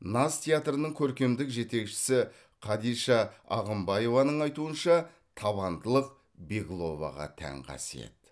наз театрының көркемдік жетекшісі кадиша ағымбаеваның айтуынша табандылық бегловаға тән қасиет